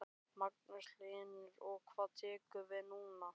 Magnús Hlynur: Og hvað tekur við núna?